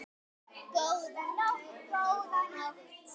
Góða nótt, góða nótt.